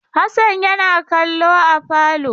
Hassan yana kallo a falo.